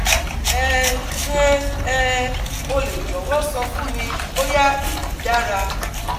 um Ṣe um o le jọwọ sọ fun mi boya eyi dara